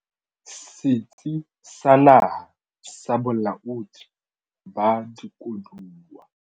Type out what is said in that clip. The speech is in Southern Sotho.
Setsi sa Naha sa Bolaodi ba Dikoduwa.l